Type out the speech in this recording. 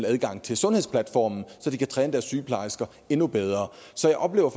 adgang til sundhedsplatformen så de kan træne sygeplejersker endnu bedre så jeg oplever